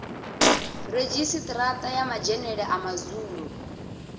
redzhisiṱara ya madzhenele a madzulo